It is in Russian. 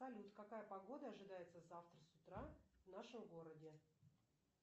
салют какая погода ожидается завтра с утра в нашем городе